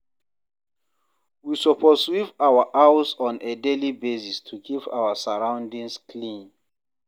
We suppose sweep our house on a daily basis to keep our sorroundings clean